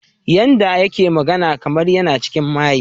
Yanda yake magana kamar yana cikin maye.